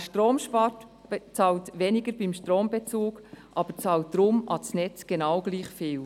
Wer Strom spart, bezahlt weniger beim Strombezug, bezahlt aber ans Netz genau gleich viel.